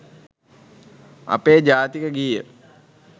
අපේ ජාතික ගීය